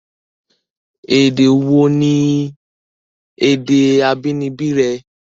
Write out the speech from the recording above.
Èdè wò ní èdè abínibí rẹ?